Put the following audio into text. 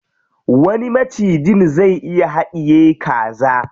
Wani macijin zai iya haɗiye kaza.